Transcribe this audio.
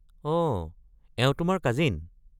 অ', এওঁ তোমাৰ কাজিন?